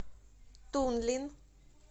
тунлин